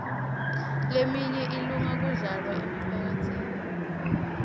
leminye ilunge kudlalwa emaphathini